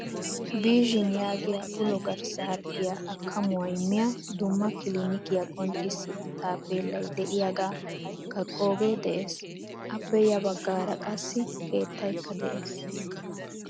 Vision yaagiyaa ulo garssa harggiyaa akamuwaa immiya dumma kilinikiyaa qonccisiya taappelay deiyaga kaqqoge de'ees. Appe ya baggaara qassi keettaykka de'ees.